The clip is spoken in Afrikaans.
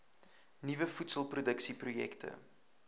nuwe voedselproduksie projekte